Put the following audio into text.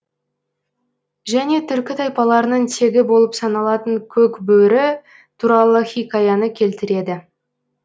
және түркі тайпаларының тегі болып саналатын көк бөрі туралы хикаяны келтіреді